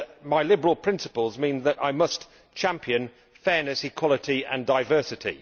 My liberal principles mean that I must champion fairness, equality and diversity.